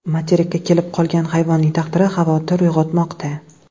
Materikka kelib qolgan hayvonning taqdiri xavotir uyg‘otmoqda.